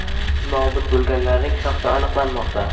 Nobud bo‘lganlarning shaxsi aniqlanmoqda.